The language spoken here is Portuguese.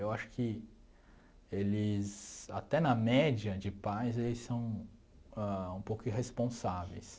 Eu acho que eles, até na média de pais, eles são ãh um pouco irresponsáveis.